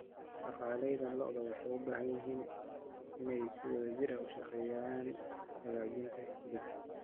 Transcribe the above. Dhaqanleyda lo'du waxay u baahan yihiin inay si wadajir ah uga shaqeeyaan hagaajinta iibka.